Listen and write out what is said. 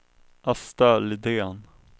Asta Lidén